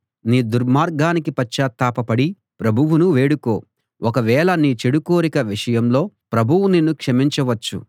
నీ దుర్మార్గానికి పశ్చాత్తాపపడి ప్రభువును వేడుకో ఒకవేళ నీ చెడు కోరిక విషయంలో ప్రభువు నిన్ను క్షమించవచ్చు